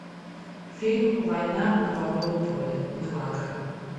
фильм война на бобовом поле милагро